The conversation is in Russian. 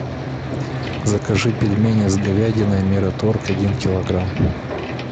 закажи пельмени с говядиной мираторг один килограмм